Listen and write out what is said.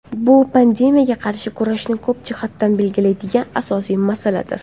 Bu pandemiyaga qarshi kurashni ko‘p jihatdan belgilaydigan asosiy masaladir.